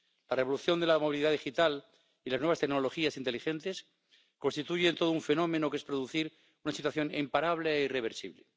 La revolución de la movilidad digital y las nuevas tecnologías inteligentes constituyen todo un fenómeno, que es producir una situación imparable e irreversible